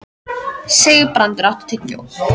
Sigurbrandur, áttu tyggjó?